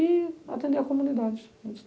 E atender a comunidade.